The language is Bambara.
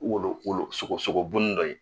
U wolo wolo sogosogobunin dɔ ye